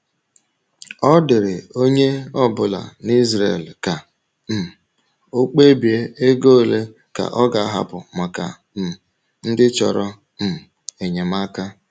Ọ dịrị onye ọ̀bụ̀là n’Ìsràèl ka um ọ̀ kpebie ego òle ka ọ̀ ga-ahapụ maka um ndị chọ̀rò um enyemàka.